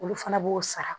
Olu fana b'o sara